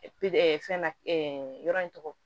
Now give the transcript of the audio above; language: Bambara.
fɛn na yɔrɔ in tɔgɔ